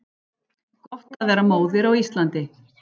Gott að vera móðir á Íslandi